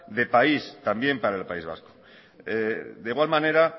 de país también para el país vasco de igual manera